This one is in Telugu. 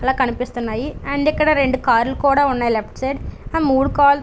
చాలా కనిపిస్తున్నాయి అండ్ ఇక్కడ రెండు కార్లు కూడా ఉన్నాయి లెఫ్ట్ సైడ్ మూడు కార్లు .